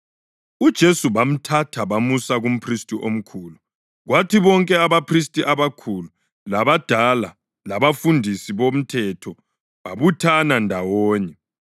UJesu bamthatha bamusa kumphristi omkhulu, kwathi bonke abaphristi abakhulu, labadala labafundisi bomthetho babuthana ndawonye.